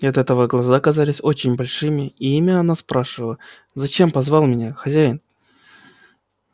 и от этого глаза казались очень большими и ими она спрашивала зачем позвал меня хозяин